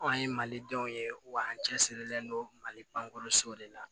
Anw ye malidenw ye wa an cɛ sirilen don mali bankɔrɔ so de la